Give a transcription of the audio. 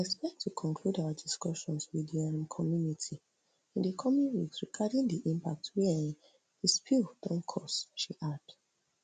we expect to conclude our discussions wit di um community in di coming weeks regarding di impact wey um di spill don cause she add